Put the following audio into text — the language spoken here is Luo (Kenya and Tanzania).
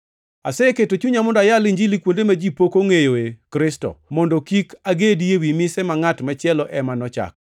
Aseketo chunya mondo ayal Injili kuonde ma ji pok ongʼeyoe Kristo, mondo kik agedi ewi mise ma ngʼat machielo ema nochako.